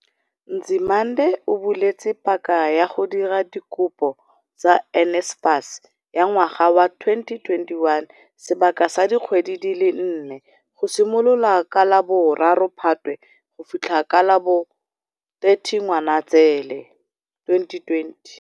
Nzimande, o buletse paka ya go dira dikopo tsa NSFAS ya ngwaga wa 2021 sebaka sa dikgwedi di le nne, go simolola ka la bo 3 Phatwe go fitlha ka la bo 30 Ngwanaitseele 2020.